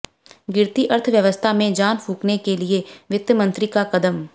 गिरती अर्थव्यवस्था में जान फूंकने के लिए वित्त मंत्री का कदम